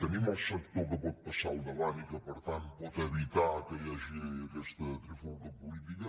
tenim el sector que pot passar al davant i que per tant pot evitar que hi hagi aquesta trifulga política